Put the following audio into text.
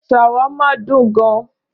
Ṣàwámà dùn gan-an.